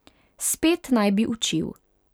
Spet naj bi učil.